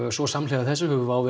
svo samhliða þessu hefur WOW